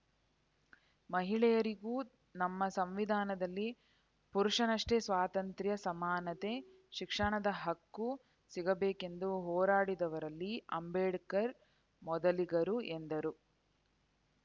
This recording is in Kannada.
ಮಹಿಳೆಯರಿಗೂ ನಮ್ಮ ಸಂವಿಧಾನದಲ್ಲಿ ಪುರುಷನಷ್ಟೇ ಸ್ವಾತಂತ್ರ್ಯ ಸಮಾನತೆ ಶಿಕ್ಷಣದ ಹಕ್ಕು ಸಿಗಬೇಕೆಂದು ಹೋರಾಡಿದವರಲ್ಲಿ ಅಂಬೇಡ್ಕರ್‌ ಮೊದಲಿಗರು ಎಂದರು